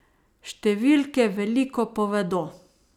Številke veliko povedo.